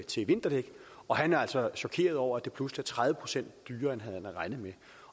til vinterdæk og han er altså chokeret over at det pludselig er tredive procent dyrere end han havde regnet med